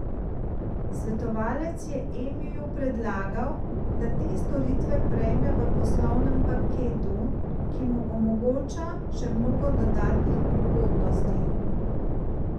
Svetovalec je Emiju predlagal, da te storitve prejme v poslovnem paketu, ki mu omogoča še mnogo dodatnih ugodnosti.